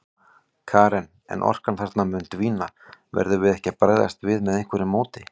Karen: En orkan þarna mun dvína, verðum við ekki að bregðast við með einhverju móti?